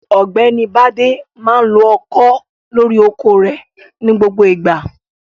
OỌ̀gbẹ́ni Bádé máa ń lo ọkọ́ lórí oko rẹ̀ ní gbogbo ìgbà.